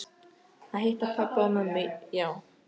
Að hitta pabba og mömmu, já.